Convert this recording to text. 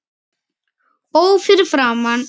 Ó fyrir framan